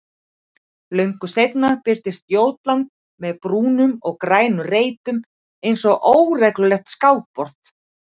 Löngu seinna birtist Jótland með brúnum og grænum reitum einsog óreglulegt skákborð.